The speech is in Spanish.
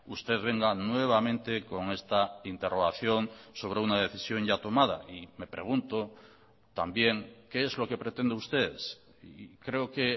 usted venga nuevamente con esta interrogación sobre una decisión ya tomada y me pregunto también qué es lo que pretende usted y creo que